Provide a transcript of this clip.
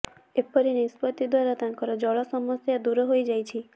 ଏପରି ନିଷ୍ପତ୍ତି ଦ୍ବାରା ତାଙ୍କର ଜଳ ସମସ୍ୟା ଦୂର ହୋଇଯାଇଛି